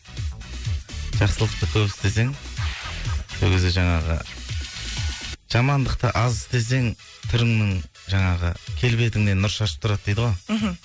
жақсылықты көп істесең сол кезде жаңағы жамандықты аз істесең түріңнің жаңағы келбетіңнен нұр шашып тұрады дейді ғой мхм